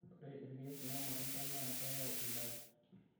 ore ilkeek loo ilmatunda naa keyau endaaa